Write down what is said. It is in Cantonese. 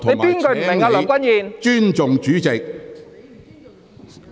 請你尊重主席。